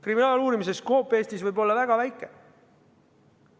Kriminaaluurimise skoop Eestis võib olla väga väike.